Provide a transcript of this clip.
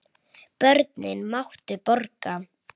Börnin máttu borga.